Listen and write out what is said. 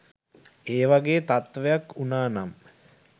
ඒ වගේ තත්ත්වයක් වුණා නම්